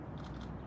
Bütün yollar.